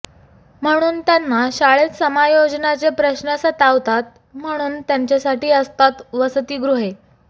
म्हणून त्यांना शाळेत समायोजनाचे प्रश्न सतावतात म्हणून त्यांच्यासाठी असतात वसतिगृहे